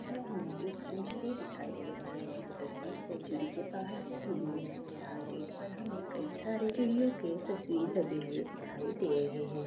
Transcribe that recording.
यह हमे एक सेन्चुरी दिखाई दे रहा हैं तस्वीर सेन्चुरी के बहार से ली हुई हैं यहा गेट पर हमे कइ सारे चिड़ियों के तस्वीर लगे हुए दिखाई दे रहे हैं।